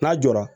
N'a jɔra